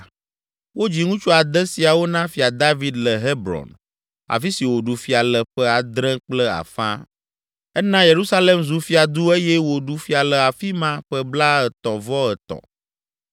Wodzi ŋutsu ade siawo na Fia David le Hebron, afi si wòɖu fia le ƒe adre kple afã. Ena Yerusalem zu fiadu eye wòɖu fia le afi ma ƒe blaetɔ̃-vɔ-etɔ̃.